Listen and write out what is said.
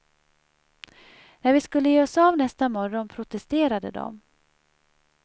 När vi skulle ge oss av nästa morgon protesterade de.